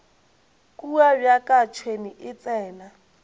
kua bjaka tšhwene e tsena